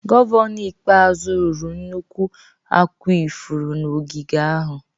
Gọvanọ ikpeazụ rụrụ nnukwu akwa ifuru na ogige ahụ.